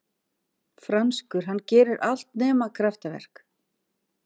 Franskur, hann gerir allt nema kraftaverk.